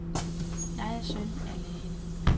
Jeg er søn af lægen.